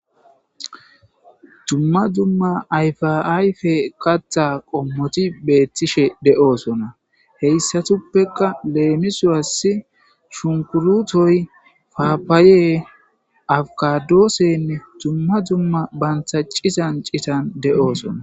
Dzumma dzumma ayfaayfe qatha qommoti beettishe de'oosona heyssatuppeka leemisuwassi shunkurutoy faapaaye awgadoossenne dzumma dzumma bantaccizan citan de'oosona.